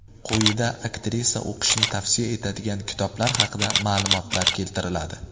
Quyida aktrisa o‘qishni tavsiya etadigan kitoblar haqida ma’lumotlar keltiriladi.